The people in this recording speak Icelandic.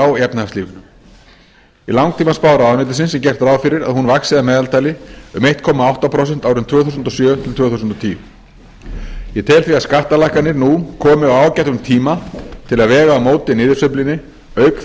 á í efnahagslífinu í langtímaspá ráðuneytisins er gert ráð fyrir að hún vaxi að meðaltali um einn komma átta prósent árin tvö þúsund og sjö til tvö þúsund og tíu ég tel því að skattalækkanir nú komi á ágætum tíma til að vega á móti niðursveiflunni auk